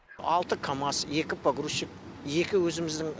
алты камаз екі погрузщик екі өзіміздің